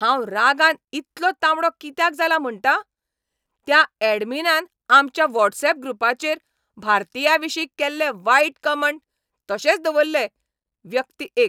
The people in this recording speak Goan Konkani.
हांव रागान इतलो तांबडो कित्याक जाला म्हणटा? त्या एडमिनान आमच्या व्हॉट्सऍप ग्रुपाचेर भारतीयांविशीं केल्ले वायट कमँट तशेच दवरले. व्यक्ती एक